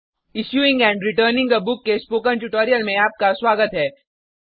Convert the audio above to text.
issuing and returning a book के spoken tutorial में आपका स्वागत है